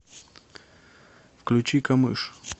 включи камыш